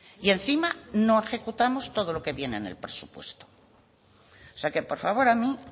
y encima no ejecutamos todo lo que viene en el presupuesto o sea que por favor a mí